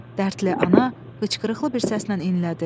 Dərdli ana hıçqırıqlı bir səslə inlədi.